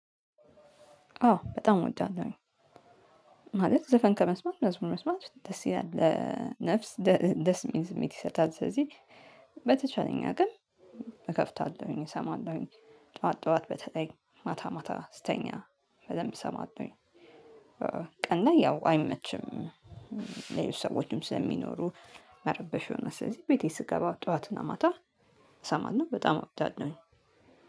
አዎ በጣም እወዳለሁኝ። ማለት ዘፈን ከመስማት መዝሙር መስማት ደስ ይላል ለነፍስ ደስ የሚል ስሜት ይሰጣል ስለዚህ በተቻለኝ አቅም እከፍታለሁኝ እሰማለሁኝ ጠዋት ጠዋት በተለይ ማታ ማታ ስተኛ በደንብ እሰማለሁኝ። ቀን ላይ ያው አይመችም ሰዎችም ስለሚኖሩ መረበሽ የሆነ ስለዚህ ቤቴ ስገባ ጠዋትና ማታ ይሰማና በጣም አወዳለሁኝ